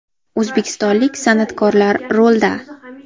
O‘zbekistonlik san’atkorlar rulda .